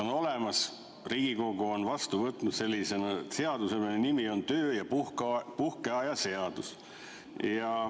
On olemas üks seadus, Riigikogu on vastu võtnud sellise seaduse, mille nimi on töö- ja puhkeaja seadus.